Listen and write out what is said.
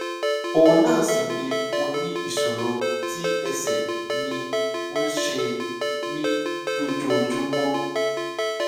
òun náà sì ni mo ní ìṣòro tí ẹsẹ mi ń ṣe mí lójoojúmọ